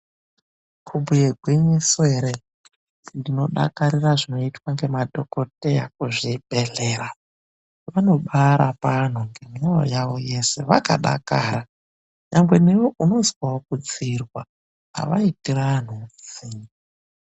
KUBHUYE GWINYISO ERE NDINODAKARIRA ZVINOITE MADHOKUTEYA KUZVIBEHLERA ANOBAARAPA ANHUNGEMWOYO YAWO YESE VAKADAKARA NYANGWE NEWE UNOZWAWO KUDZIIRWA AWAITIRI ANHU UTSINYE.